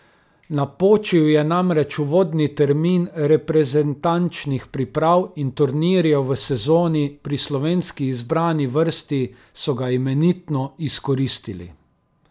Napočil je namreč uvodni termin reprezentančnih priprav in turnirjev v sezoni, pri slovenski izbrani vrsti so ga imenitno izkoristili.